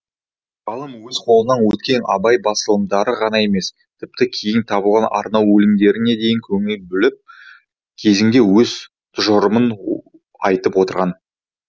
ғалым өз қолынан өткен абай басылымдары ғана емес тіпті кейін табылған арнау өлеңдеріне дейін көңіл бөліп кезінде өз тұжырымын айтып отырған